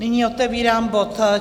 Nyní otevírám bod